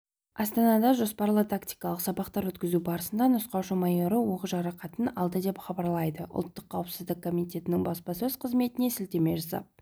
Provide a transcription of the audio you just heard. астанада жоспарлы тактикалық сабақтар өткізу барысында нұсқаушы майоры оқ жарақатын алды деп хабарлайды ұлттық қауіпсіздік комитетінің баспасөз қызметіне сілтеме жасап